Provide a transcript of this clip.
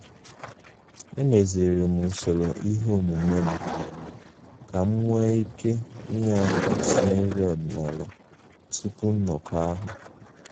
Emeziri m usoro ihe omume m ka m nwee ike inye aka sie nri ọdịnala tupu nnọkọ ahụ